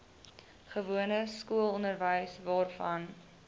gewone skoolonderwys waarvan